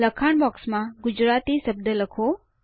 લખાણ બોક્સમાં ગુજરાતી શબ્દ લખો